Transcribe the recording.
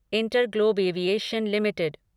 InterGlobe Aviation limited